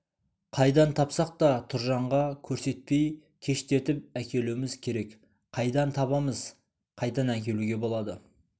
қайдан тапсақ та тұржанға көрсетпей кештетіп әкелуіміз керек қайдан табамыз қайдан әкелуге болады